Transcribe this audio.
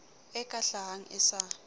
e ka hlahang e sa